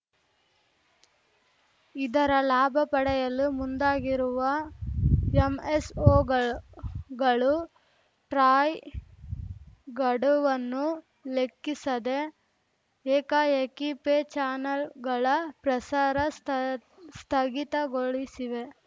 ಇದರ ಲಾಭ ಪಡೆಯಲು ಮುಂದಾಗಿರುವ ಎಂಎಸ್‌ಓಗಳು ಟ್ರಾಯ್‌ ಗಡುವನ್ನೂ ಲೆಕ್ಕಿಸದೆ ಏಕಾಏಕಿ ಪೇ ಚಾನೆಲ್‌ಗಳ ಪ್ರಸಾರ ಸ್ಥ ಸ್ಥಗಿತಗೊಳಿಸಿವೆ